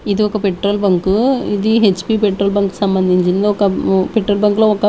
ఇది ఒక petrol bunk ఇది హెచ్ పి పెట్రోల్ బంకు సంబంధించింది ఒక ఉమ్ పెట్రోల్ బంక్ లో ఒక--